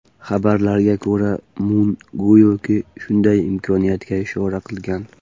Xabarlarga ko‘ra, Mun go‘yoki, shunday imkoniyatga ishora qilgan.